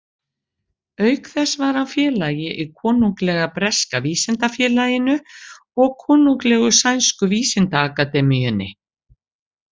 Auk þess var hann félagi í Konunglega breska vísindafélaginu og Konunglegu sænsku vísindaakademíunni.